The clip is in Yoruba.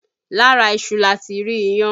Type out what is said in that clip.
Lára iṣu lati rí iyán